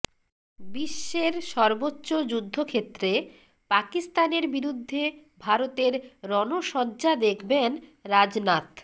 বিশ্বের সর্বোচ্চ যুদ্ধক্ষেত্রে পাকিস্তানের বিরুদ্ধে ভারতের রণসজ্জা দেখবেন রাজনাথ